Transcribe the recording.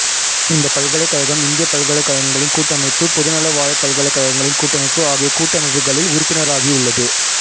இந்த பல்கலைக்கழகம் இந்தியப் பல்கலைக்கழகங்களின் கூட்டமைப்பு பொதுநலவாயப் பல்கலைக்கழகங்களின் கூட்டமைப்பு ஆகிய கூட்டமைப்புகளில் உறுப்பினராகி உள்ளது